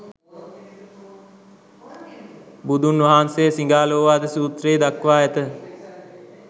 බුදුන් වහන්සේ සිඟාලෝවාද සූත්‍රයෙහි දක්වා ඇත.